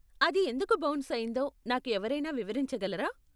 అది ఎందుకు బౌన్స్ అయిందో నాకు ఎవరైనా వివరించగలరా?